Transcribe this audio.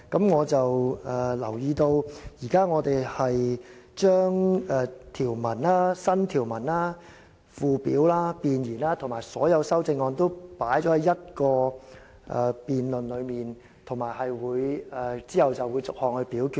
我留意到，我們現時將條文、新條文、附表、弁言和所有修正案均歸入同一個辯論中，然後會逐一表決。